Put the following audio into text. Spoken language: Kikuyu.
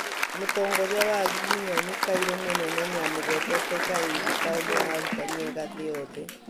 Mũtongoria wa agiginyani, kairu mũnene nĩamũgwetete Karĩithĩ ta ũmwe wa arũtani ega thĩ yothe